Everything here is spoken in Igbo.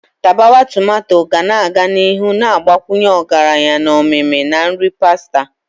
Tapawa tomato ga-aga n'ihu na-agbakwunye ọgaranya na omimi na nri pasta.